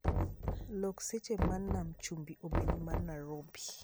Lok seche ma nam chumbi obed manarobi